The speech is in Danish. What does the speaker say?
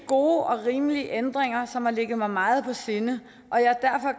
gode og rimelige ændringer som har ligget mig meget på sinde og jeg er